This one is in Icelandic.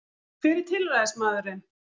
Hver er tilræðismaðurinn